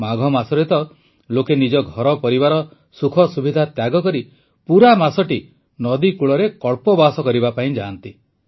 ମାଘ ମାସରେ ତ ଲୋକେ ନିଜ ଘର ପରିବାର ସୁଖସୁବିଧା ତ୍ୟାଗକରି ପୁରା ମାସଟି ନଦୀକଳୂରେ କଳ୍ପବାସ କରିବା ପାଇଁ ଯାଆନ୍ତି